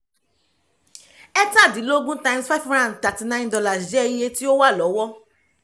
ẹ̀tadínlógún times five hundred and thirty nine dollars [c] jẹ́ iye tí ó wà lọ́wọ́